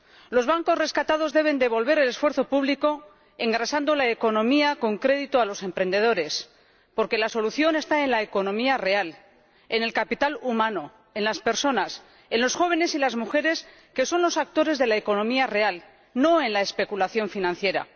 Los bancos rescatados deben devolver el esfuerzo público, engrasando la economía con crédito a los emprendedores, porque la solución está en la economía real, en el capital humano, en las personas, en los jóvenes y las mujeres, que son los actores de la economía real, no en la especulación financiera.